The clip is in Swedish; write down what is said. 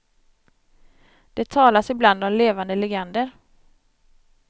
Det talas ibland om levande legender.